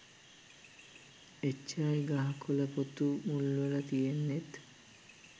එච්චරයි ගහ කොල පොතු මුල්වල තියෙන්නෙත්